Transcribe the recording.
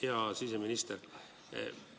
Hea siseminister!